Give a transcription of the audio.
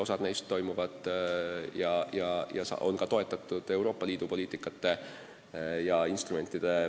Osa neist toetavad ka Euroopa Liidu poliitikad ja instrumendid.